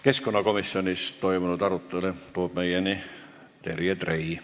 Keskkonnakomisjonis toimunud arutelu toob meieni Terje Trei.